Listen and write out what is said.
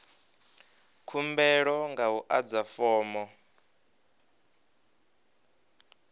khumbelo nga u adza fomo